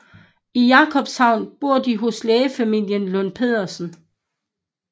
I Jakobshavn bor de hos lægefamilien Lund Petersen